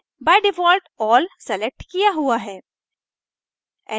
by default all select किया हुआ है